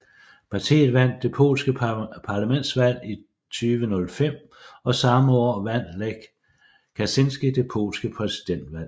Partiet vandt det polske parlamentsvalg i 2005 og samme år vandt Lech Kaczyński det polske præsidentvalg